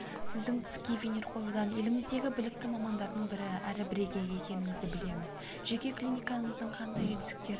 сіздің тіске винир қоюдан еліміздегі білікті мамандардың бірі әрі бірегейі екеніңізді білеміз жеке клиникаңыздың қандай жетістіктері